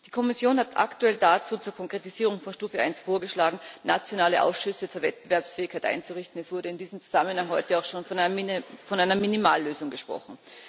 Die Kommission hat aktuell dazu zur Konkretisierung von Stufe 1 vorgeschlagen, nationale Ausschüsse zur Wettbewerbsfähigkeit einzurichten. Es wurde in diesem Zusammenhang heute auch schon von einer Minimallösung gesprochen.